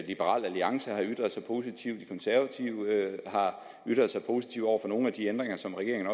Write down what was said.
liberal alliance har ytret sig positivt de konservative har ytret sig positivt over for nogle af de ændringer som regeringen